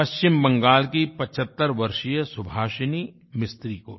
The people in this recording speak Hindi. पश्चिम बंगाल की 75 वर्षीय सुभासिनी मिस्त्री को भी